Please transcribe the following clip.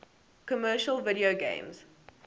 commercial video games